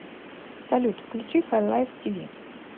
салют включи хайлайв ти ви